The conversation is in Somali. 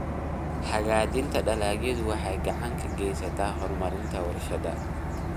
Hagaajinta dalagyadu waxay gacan ka geysataa horumarinta warshadaha.